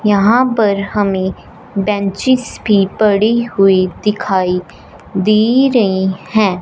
यहां पर हमें बेंचेज भी पड़ी हुई दिखाई दे रही हैं।